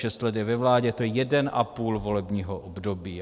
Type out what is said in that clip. Šest let je ve vládě, to je jeden a půl volebního období.